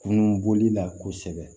Kunun bɔli la kosɛbɛ